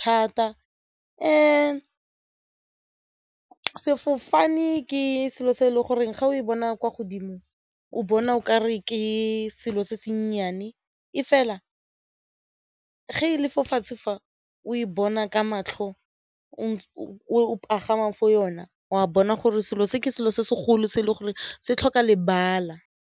thata sefofane ke selo se e le goreng ga o e bona kwa godimo o bona o kare ke selo se se nnyane e fela ge e lefatshe fa o bona ka matlho o pagamang for yona wa bona gore selo se ke selo se segolo se e le gore se tlhoka lebala.